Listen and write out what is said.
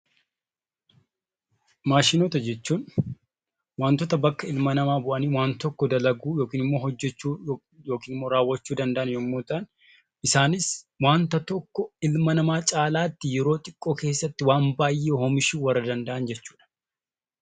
Maashinoota jechuun wantoota bakka ilma namaa bu'anii waan tokko dalaguu yookiin immoo hojjechuu yookiin immoo raawwachuu danda'an yommuu ta'an, isaanis waanta tokko ilma namaa caalaatti yeroo xiqqoo keessatti waan baay'ee oomishuu warra danda'an jechuudha.